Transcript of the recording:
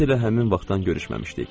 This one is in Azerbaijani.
Biz elə həmin vaxtdan görüşməmişdik.